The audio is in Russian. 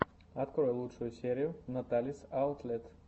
открой лучшую серию наталис аутлет